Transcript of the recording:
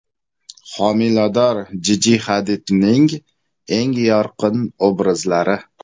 Homilador Jiji Hadidning eng yorqin obrazlari .